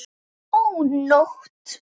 Ó, nótt!